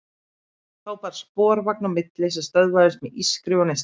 Þá bar sporvagn á milli sem stöðvaðist með ískri og neistaflugi.